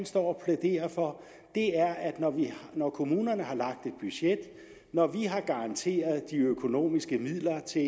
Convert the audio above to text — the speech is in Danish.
står og plæderer for er at når kommunerne har lagt et budget og når vi har garanteret de økonomiske midler til